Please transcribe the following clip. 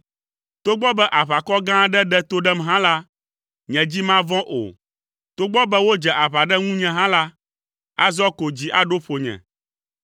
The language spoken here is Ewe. Togbɔ be aʋakɔ gã aɖe ɖe to ɖem hã la, nye dzi mavɔ̃ o, togbɔ be wodze aʋa ɖe ŋunye hã la, azɔ koŋ dzi aɖo ƒonye.